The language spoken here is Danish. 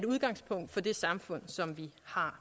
udgangspunkt for det samfund som vi har